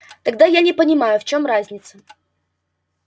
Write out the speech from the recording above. тогда я не понимаю в чём разница